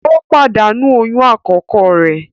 O padanu oyún akọkọ re